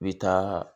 I bi taa